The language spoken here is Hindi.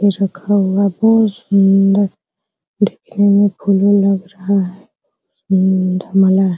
और रखा हुआ बहुत सुन्दर देखने मे फूल उल लग रहा है